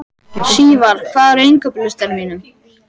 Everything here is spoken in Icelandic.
Sívar, hvað er á innkaupalistanum mínum?